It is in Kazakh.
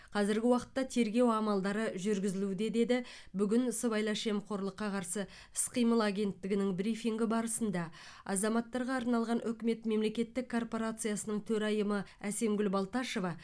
қазіргі уақытта тергеу амалдары жүргізілуде деді бүгін сыбайлас жемқорлыққа қарсы іс қимыл агенттігінің брифингі барысында азаматтарға арналған үкімет мемлекеттік корпорациясының төрайымы әсемгүл балташева